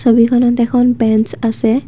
ছবিখনত এখন বেঞ্চ আছে।